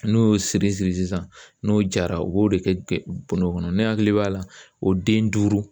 N'u y'o siri siri sisan n'o jara u b'o de kɛ bondo kɔnɔ ne hakili b'a la o den duuru